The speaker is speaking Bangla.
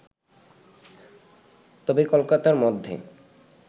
তবে কলকাতার মধ্যে